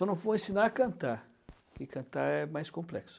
Só não vou ensinar a cantar, porque cantar é mais complexo.